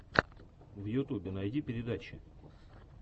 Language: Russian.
в ютьюбе найди передачи